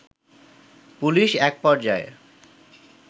police একপর্যায়ে